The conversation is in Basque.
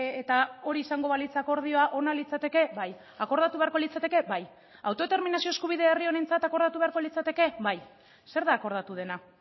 eta hori izango balitz akordioa ona litzateke bai akordatu beharko litzateke bai autodeterminazio eskubidea herri honentzat akordatu beharko litzateke bai zer da akordatu dena